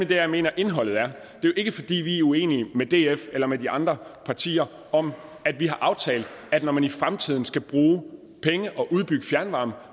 dér jeg mener indholdet er fordi vi er uenige med df eller med de andre partier om at vi har aftalt at når man i fremtiden skal bruge penge og udbygge fjernvarme